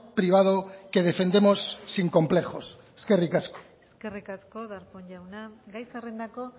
privado que defendemos sin complejos eskerrik asko eskerrik asko darpón jauna gai zerrendako